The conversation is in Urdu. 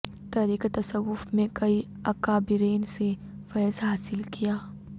طریقہ تصوف میں کئی اکابرین سے فیض حاصل کیا